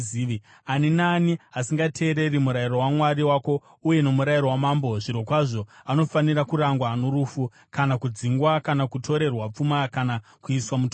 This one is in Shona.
Ani naani asingateereri murayiro waMwari wako uye nomurayiro wamambo, zvirokwazvo anofanira kurangwa norufu, kana kudzingwa, kana kutorerwa pfuma, kana kuiswa mutorongo.